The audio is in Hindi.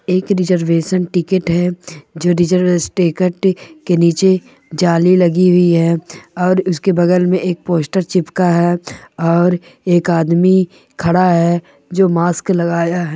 एक रिजर्वेशन टिकट है जो रेसेर्वेस टिकट के नीचे जाली लगी हुई है और उसके बगल मे एक पोस्टर चिपका है और एक आदमी खड़ा है जो मास्क लगाया है।